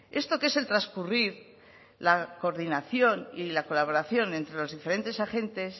esto que es el transcurrir la coordinación y la colaboración entre los diferentes agentes